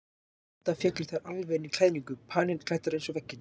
Enda féllu þær alveg inn í klæðninguna, panilklæddar eins og veggirnir.